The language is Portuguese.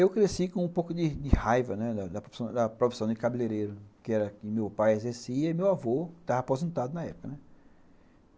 Eu cresci com um pouco de de raiva da profissão de cabeleireiro, que meu pai exercia e meu avô estava aposentado na época, né.